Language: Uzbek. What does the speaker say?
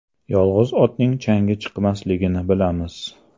Yolg‘iz otning changi chiqmasligini bilamiz.